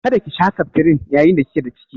Kada ki sha septrin yayin da kike da ciki?